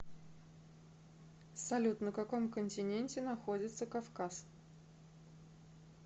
салют на каком континенте находится кавказ